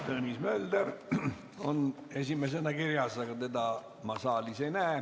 Tõnis Mölder on esimesena kirjas, aga teda ma saalis ei näe.